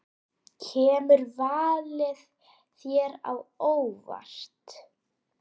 Kemur valið þér á óvart?